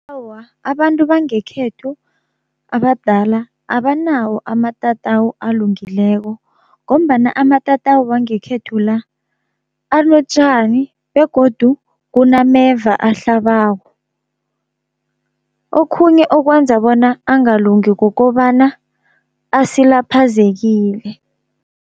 Awa abantu bangekhethu abadala abanawo amatatawu alungileko, ngombana amatatawu wangekhethu la anotjani begodu kunameva ahlabako. Okhunye okwenza bona angalungi kukobana asilaphazekileko.